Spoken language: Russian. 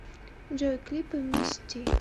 джой клипы мисти